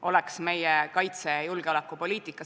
Kohaloleku kontroll Kohal on 84 rahvasaadikut, puudub 17.